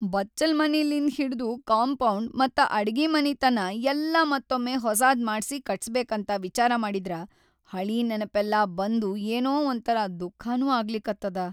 ಬಚ್ಚಲ್‌ ಮನಿಲಿಂದ್‌ ಹಿಡ್ದು ಕಂಪೌಡ್‌ ಮತ್ತ ಅಡ್ಗಿಮನಿತನಾ ಯಲ್ಲಾ ಮತ್ತೊಮ್ಮೆ ಹೊಸಾದ್‌ ಮಾಡ್ಸಿ ಕಟ್ಸಬೇಕಂತ ವಿಚಾರ ಮಾಡಿದ್ರ ಹಳೀ ನೆನಪೆಲ್ಲಾ ಬಂದು ಏನೋ ಒಂಥರಾ ದುಃಖನೂ ಆಗ್ಲಿಕತ್ತದ.